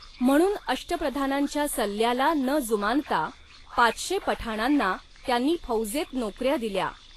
म्हणून अष्टप्रधानांच्या सल्ल्याला न जुमानता पाचशे पठाणांना त्यांनी फौजेत नोकऱ्या दिल्या.